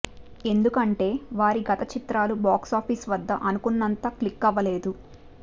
ఎందుకంటే వారి గత చిత్రాలు బాక్స్ ఆఫీస్ వద్ద అనుకున్నంతగా క్లిక్కవ్వలేదు